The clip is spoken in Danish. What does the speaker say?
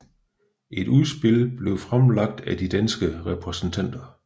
Et udspil blev fremlagt af de danske repræsentanter